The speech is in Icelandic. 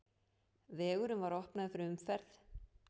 Vegurinn var opnaður fyrir umferð.